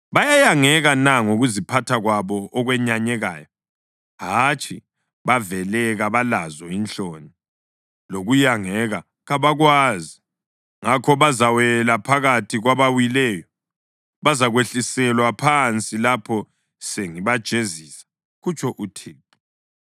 Bayayangeka na ngokuziphatha kwabo okwenyanyekayo? Hatshi, bavele kabalazo inhloni lokuyangeka kabakwazi. Ngakho bazawela phakathi kwabawileyo, bazakwehliselwa phansi lapho sengibajezisa,” kutsho uThixo.